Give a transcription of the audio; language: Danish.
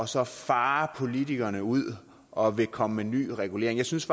så farer politikerne ud og vil komme med ny regulering jeg synes